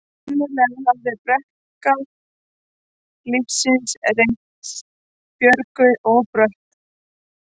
Sennilega hafði brekka lífsins reynst Björgu of brött.